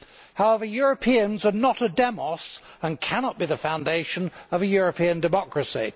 However, Europeans are not a demos and cannot be the foundation of a European democracy.